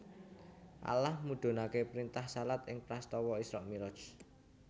Allah mudhunaké printah shalat ing prastawa Isra Mi raj